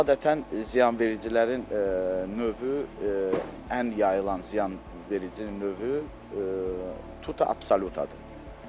Adətən ziyanvericilərin növü ən yayılmış ziyanverici növü tuta absolutadır.